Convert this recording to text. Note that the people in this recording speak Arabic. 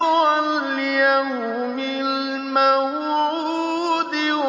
وَالْيَوْمِ الْمَوْعُودِ